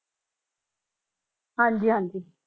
ਹਾਂਜੀ ਹਾਂਜੀ।